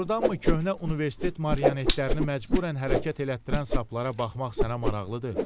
Doğrudanmı köhnə universitet mariyonetlərini məcbürən hərəkət elətdirən saplara baxmaq sənə maraqlıdır?